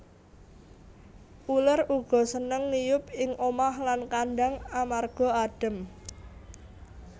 Uler uga seneng ngiyup ing omah lan kandhang amarga adhem